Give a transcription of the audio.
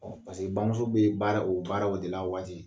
Paseke bamuso be baara o baaraw de la a waati.